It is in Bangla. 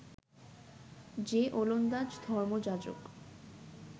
যে ওলন্দাজ ধর্মযাজক